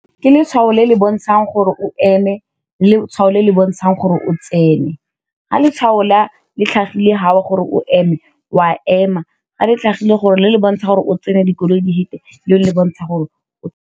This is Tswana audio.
Ke letshwao le le bontshang gore o eme letshwao le le bontshang gore o tsene, ga letshwao la le tlhagileng fa o gore o eme, wa ema ga le tlhagise gore le le bontsha gore o tsene dikoloi di fete le bontsha gore o.